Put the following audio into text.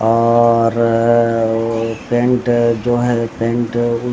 और अअअ पेंट जो हैं पेंट उ --